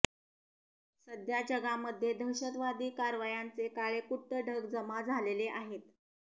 सध्या जगामध्ये दहशतवादी कारवायांचे काळेकुट्ट ढग जमा झालेले आहेत